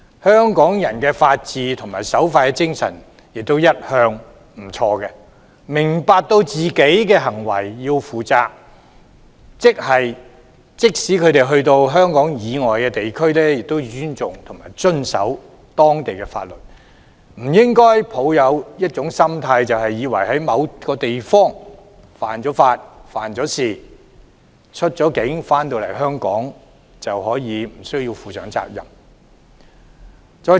香港人的法治和守法精神也一向不俗，他們明白要為自己的行為負責，即使到香港以外地區，也要尊重遵守當地法律，不應抱有僥幸心態，以為在某個地方犯法、犯事，出境回港後便可以無須負上責任。